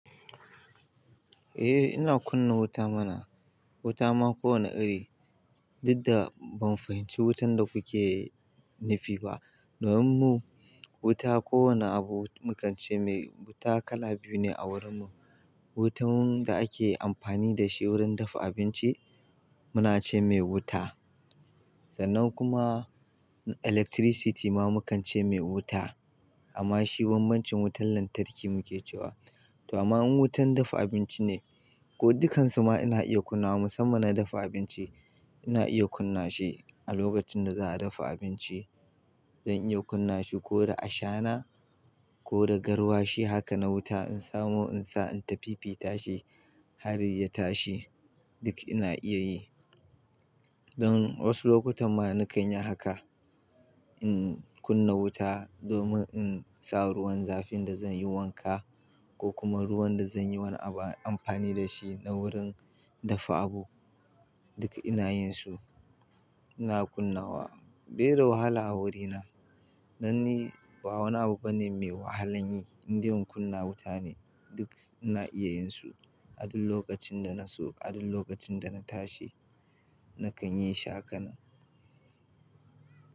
Eh ina kunna wuta mana, wuta ma kowane iri, duk da ban fahimci wutan da kuke nufi ba. Domin mu wuta kowane abu mu kan ce mai wuta kala biyu ne a wurin mu. Wutan da ake amfani da shi wurin dafa abinci muna ce mai wuta, sannan kuma electricity ma mukan ce mai wuta amma shi bambancin wutan lantarki muke cewa. To amma in wutan dafa abinci ne ko dukansu ma ina iya kunnawa musamman na dafa abinci ina iya kunna shi a lokacin da za'a dafa abinci zan iya kunna shi ko da ashana ko da garwashi haka na wuta in samo in sa inta fi fi tashi har ya tashi duk ina iya yi. Don wasu lokutan ma na kan yi haka, in kunna wuta domin in sa ruwan zafin da zan yi wanka ko kuma ruwan da zan yi wani abu amfani da shi na wurin dafa abu. Duka ina yin su, ina kunna wa bai da wahala a wurina. Don ni ba wani abu bane mai wahalan yi, indai in kunna wuta ne duk ina iya yin su. A duk lokacin da na so, a duk lokacin da na tashi na kan yi shi hakanan.